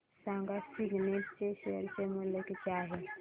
सांगा सिग्नेट चे शेअर चे मूल्य किती आहे